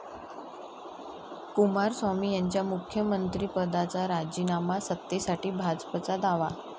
कुमारस्वामी यांचा मुख्यमंत्रीपदाचा राजीनामा, सत्तेसाठी भाजपचा दावा